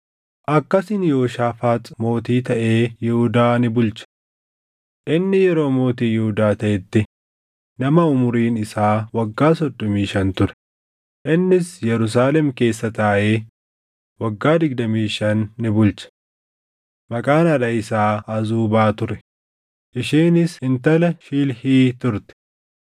Akkasiin Yehooshaafaax mootii taʼee Yihuudaa ni bulche. Inni yeroo mootii Yihuudaa taʼetti nama umuriin isaa waggaa soddomii shan ture; innis Yerusaalem keessa taaʼee waggaa digdamii shan ni bulche. Maqaan haadha isaa Azuubaa ture; isheenis intala Shilhii turte.